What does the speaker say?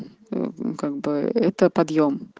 как бы это подъем